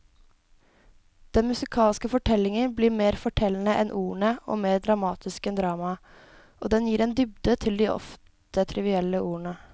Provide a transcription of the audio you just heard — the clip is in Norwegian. Den musikalske fortellingen blir mer fortellende enn ordene og mer dramatisk enn dramaet, og den gir en dybde til de ofte trivielle ordene.